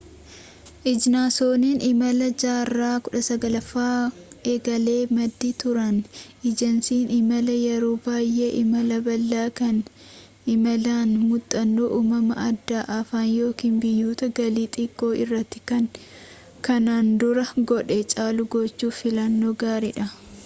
ejansoonnii imalaa jaarraa 19ffaa egalee maddii turan ejensiin imalaa yeroo baay'ee imala bal'aa kan imalaan muuxannoo umamaa aadaa afaan yookiin biyyoota galii xiqqoo irratti kan kanaan dura godhe caalu gochuuf filannoo gaarii dha